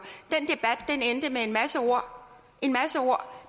den en masse ord